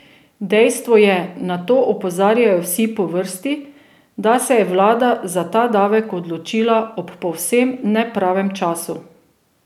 Dejstvo je, na to opozarjajo vsi po vrsti, da se je vlada za ta davek odločila ob povsem nepravem času.